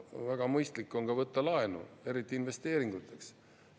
Väga mõistlik on ka võtta laenu, eriti investeeringuteks.